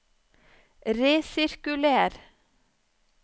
resirkuler